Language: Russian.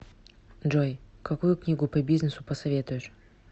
джой какую книгу по бизнесу посоветуешь